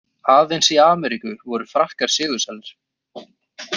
Aðeins í Ameríku voru Frakkar sigursælir.